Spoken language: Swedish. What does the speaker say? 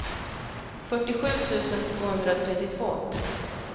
fyrtiosju tusen tvåhundratrettiotvå